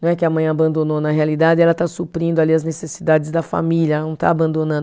Não é que a mãe abandonou na realidade, ela está suprindo ali as necessidades da família, ela não está abandonando.